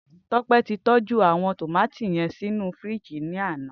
Tope ti tòjú áwòn tómàtó yèn sinú fírìjí làná